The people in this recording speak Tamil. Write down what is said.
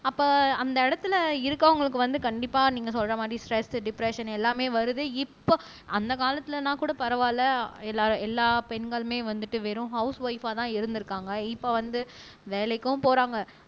அப்ப அந்த இடத்துல இருக்கிறவங்களுக்கு வந்து கண்டிப்பா நீங்க சொல்ற மாதிரி ஸ்ட்ரெஸ் டிப்ரஸ்ஸன் எல்லாமே வருது இப்ப அந்த காலத்துலன்னா கூட பரவாயில்லை எல்லா எல்லா பெண்களுமே வந்துட்டு வெறும் ஹவுஸ்ஒய்ப்பா தான் இருந்திருக்காங்க இப்ப வந்து வேலைக்கும் போறாங்க